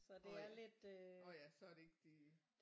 Nåh ja nåh ja så er det ikke det